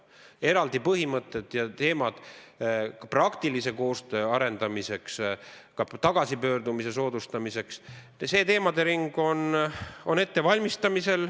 Eraldi põhimõtted ja teemad praktilise koostöö arendamiseks, ka tagasipöördumise soodustamiseks, on ettevalmistamisel.